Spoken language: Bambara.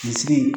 Kunsigi